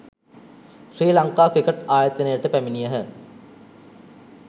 ශ්‍රී Lanka cricket ආයතනයට පැමිණියහ